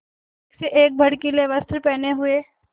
एक से एक भड़कीले वस्त्र पहने हुए